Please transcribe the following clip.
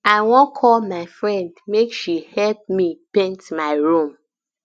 i wan call my friend make she help me paint my room